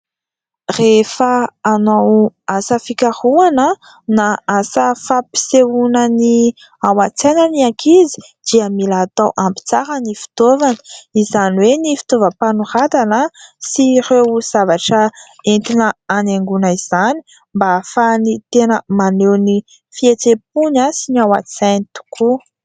Rehefa hanao asa fikarohana na asa fampisehoana ny ao an-tsaina ny ankizy dia mila atao ampy tsara ny fitaovana. Izany hoe ny fitaovam-panoratana sy ireo zavatra entina hanaingoana izany mba ahafahany tena maneho ny fihetseham-pony sy ny ao an-tsainy tokoa.